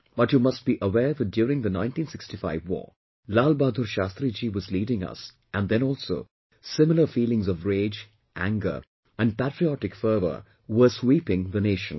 But, you must be aware that during the 1965war, Lal bahadur Shastri Ji was leading us and then also similar feelings of rage, anger and patriotic fervour were sweeping the nation